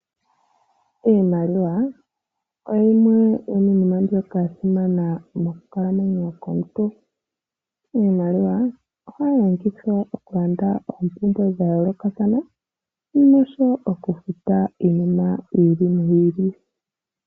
iimaliwa oyo yimwe yomiinima mbyoka ya simana mokukalamwenyo komuntu . Iimaliwa ohayi longithwa okulanda oompumbwe dha yoolokathana noshowo okufuta iinima yi ili noyi ili.